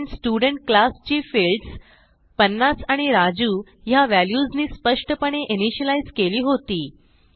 कारण student class ची fields 50 आणि राजू ह्या व्हॅल्यूजनी स्पष्टपणे इनिशियलाईज केली होती